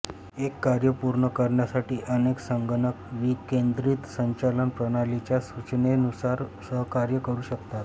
एक कार्य पूर्ण करण्यासाठी अनेक संगणक विकेंद्रित संचालन प्रणालीच्या सूचनेनुसार सहकार्य करू शकतात